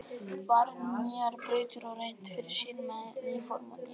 Farið inn á nýjar brautir og reynt fyrir sér með ný form og ný efni.